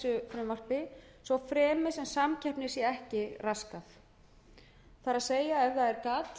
frumvarpi svo fremi sem samkeppni sé ekki raskað það er ef það er gat